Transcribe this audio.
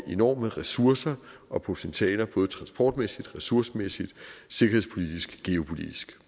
enorme ressourcer og potentiale både transportmæssigt ressourcemæssigt sikkerhedspolitisk geopolitisk